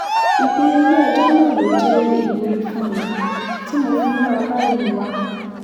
ìpinnu ilé-ẹjọ́ náà ló jẹ́ ìwúrí fún mi tí mo fi múra báyìí wá